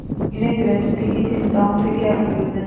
इन्हें गृहस्थी की चिंताओं से क्या प्रयोजन